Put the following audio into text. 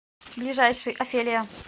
ближайший офелия